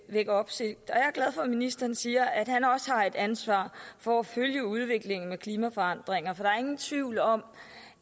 vække opsigt jeg er glad for at ministeren siger at han også har et ansvar for at følge udviklingen med klimaforandringer for der er ingen tvivl om